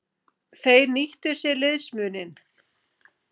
Þeir nýttu sér liðsmuninn.